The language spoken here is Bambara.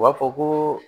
U b'a fɔ ko